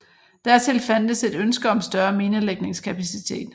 Dertil fandtes et ønske om større minelægningskapacitet